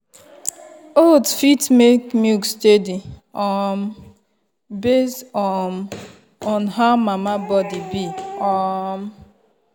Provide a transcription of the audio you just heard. oats fit keep make milk steady um based um on how mama body be. um